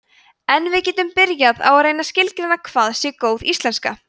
en við getum byrjað á að reyna að skilgreina hvað sé góð íslenska